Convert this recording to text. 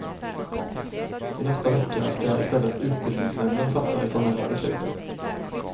I nästa vecka ska istället utbildningsnämnden fatta det formella beslutet.